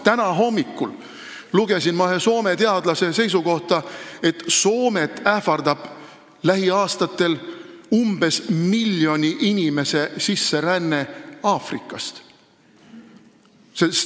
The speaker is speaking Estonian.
Täna hommikul lugesin ma ühe Soome teadlase seisukohta, et Soomet ähvardab lähiaastatel umbes miljoni inimese sisseränne Aafrikast.